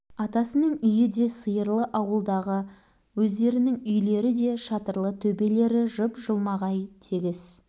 атасының үйі де сиырлы ауылдағы өздерінің үйлері де шатырлы төбелері жып-жылмағай тегіс